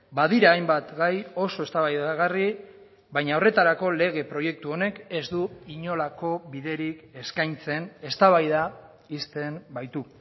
badira hainbat gai oso eztabaidagarri baina horretarako lege proiektu honek ez du inolako biderik eskaintzen eztabaida ixten baitu